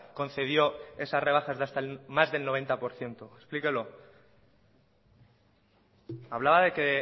concedió esas rebajas de hasta el más del noventa por ciento explíquelo hablaba de que